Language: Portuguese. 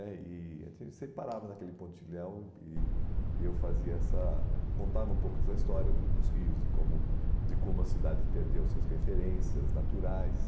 é, e a gente sem sempre parava naquele pontilhão e e eu fazia essa contava um pouco essa história do dos rios e de como de como a cidade perdeu suas referências naturais.